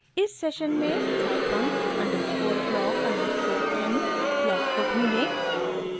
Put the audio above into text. इस सेशन में scifunc_block_m block को ढूँढें